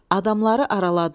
Adamları araladılar.